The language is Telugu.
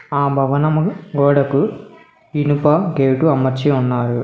ఆ భవనమును గోడకు ఇనుప గేటు అమర్చి ఉన్నారు.